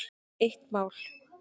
Eitt mál.